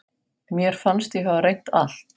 Mér fannst ég hafa reynt allt.